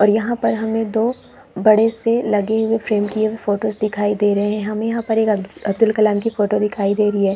और यहाँ पर हमें दो बड़े से लगे हुए फ्रेम किया हुए फोटोज दिखाई दे रहे है हमें यहाँ पे अ अब्दुल कलाम की फोटो दिखाई दे रही है।